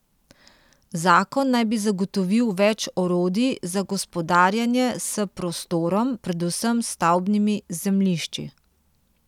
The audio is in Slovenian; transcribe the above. Zakon naj bi zagotovil več orodij za gospodarjenje s prostorom, predvsem s stavbnimi zemljišči.